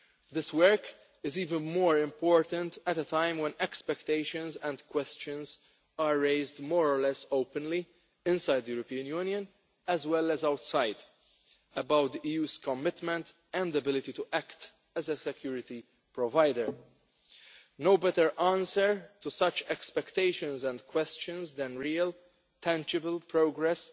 This work is even more important at a time when expectations and questions are raised more or less openly inside the European Union, as well as outside, about the EU's commitment and ability to act as a security provider. There is no better answer to such expectations and questions than real, tangible progress